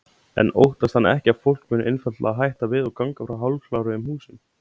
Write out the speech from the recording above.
En óttast hann ekki að fólk muni einfaldlega hætta við og ganga frá hálfkláruðum húsum?